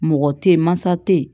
Mɔgɔ tɛ ye mansa tɛ ye